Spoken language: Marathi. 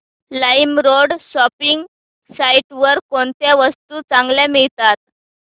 लाईमरोड शॉपिंग साईट वर कोणत्या वस्तू चांगल्या मिळतात